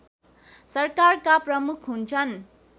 सरकारका प्रमुख हुन्छन्